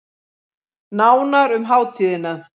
Nánar um hátíðina